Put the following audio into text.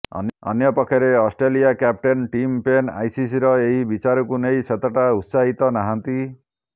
ଅନ୍ୟପକ୍ଷରେ Australia captain Tim Paine ଆଇସିସିର ଏହି ବିଚାରକୁ ନେଇ ସେତେଟା ଉତ୍ସାହିତ ନାହାନ୍ତି